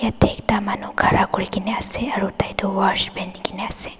ekta manu khara kurikena ase aro tai toh watch peni kaena ase.